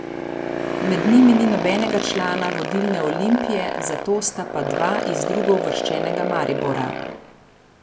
Med njimi ni nobenega člana vodilne Olimpije, zato sta pa dva iz drugouvrščenega Maribora.